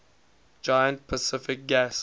giant pacific gas